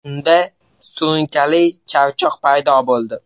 Unda surunkali charchoq paydo bo‘ldi.